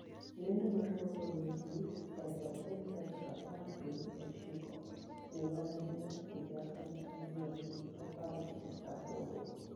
Lendo mar Global Newsbeat aluf achiel tarik apar gi ochiko dwe mar ariyo higa aluf ariyo gi apar gi aboro.